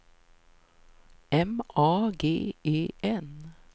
M A G E N